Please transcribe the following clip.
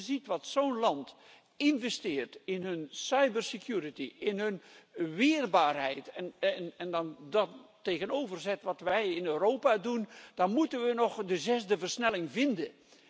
Als je ziet wat zo'n land investeert in hun cyber security in hun weerbaarheid, en je dan daar tegenover zet wat wij in Europa doen, dan moeten we nog de zesde versnelling vinden.